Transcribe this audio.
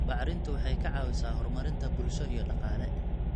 Bacrintu waxay ka caawisaa horumarinta bulsho iyo dhaqaale.